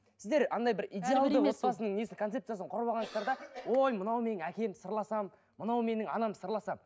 сіздер андай бір идеалды отбасының несін концепциясын құрып алғансыздар да ой мынау менің әкем сырласамын мынау менің анам сырласамын